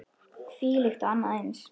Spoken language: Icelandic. Þvílíkt og annað eins.